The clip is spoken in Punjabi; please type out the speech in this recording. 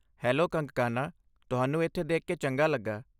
ਹੈਲੋ ਕੰਗਕਾਨਾ, ਤੁਹਾਨੂੰ ਇੱਥੇ ਦੇਖ ਕੇ ਚੰਗਾ ਲੱਗਾ।